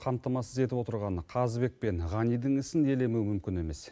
қамтамасыз етіп отырған қазыбек пен ғанидің ісін елемеу мүмкін емес